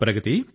ప్రగతీ